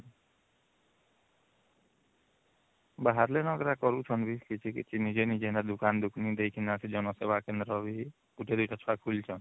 ବାହାରେନା ଅଲଗା କରୁଛନ୍ତି କିଛି କିଛି ନିଜେ ନିଜେ ଦୁକାନ ଦୂକନି ଦେଇକିନା ଜଣ ସେବା କେନ୍ଦ୍ର ବି ଗୁଟେ ୨ଟା ଛୁଆ ଖୁଲିଛନ